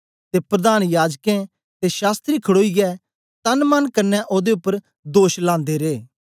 ते प्रधान याजकें ते शास्त्री खडोईयै तन मन कन्ने ओदे उपर दोष लांदे रे